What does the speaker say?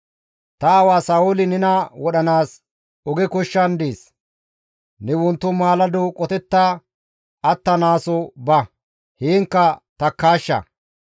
«Ta aawa Sa7ooli nena wodhanaas oge koshshan dees; ne wonto maalado qotetta attanaaso ba; heenkka takkaashsha.